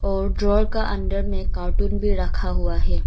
और ड्रो का अंदर में कार्टन भी रखा हुआ है।